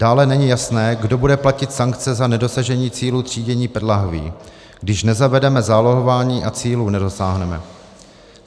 Dále není jasné, kdo bude platit sankce za nedosažení cílů třídění PET lahví, když nezavedeme zálohování a cílů nedosáhneme.